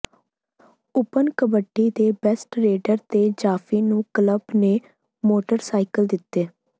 open kabaddi ਦੇ best raider ਤੇ ਜਾਫ਼ੀ ਨੂੰ ਕਲੱਬ ਨੇ ਮੋਟਰਸਾਈਕਲ ਦਿੱਤੇ